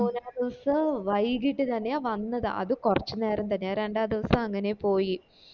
മൂന്നാ ദിവസോ വൈകിട്ട് തന്നെയാ വന്നത് അത് കൊറച്ച് നേരം തന്നേ രണ്ട ദിവസോ അങ്ങനെ പോയി